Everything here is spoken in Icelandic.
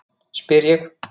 spyr ég.